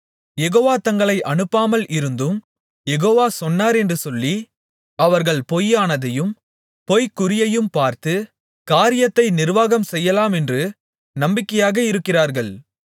யெகோவா தங்களை அனுப்பாமல் இருந்தும் யெகோவா சொன்னாரென்று சொல்லி அவர்கள் பொய்யானதையும் பொய்க்குறியையும் பார்த்து காரியத்தை நிர்வாகம் செய்யலாமென்று நம்பிக்கையாக இருக்கிறார்கள்